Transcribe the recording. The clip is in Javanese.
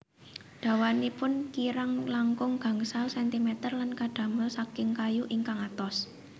Dawanipun kirang langkung gangsal sentimeter lan kadamel saking kayu ingkang atos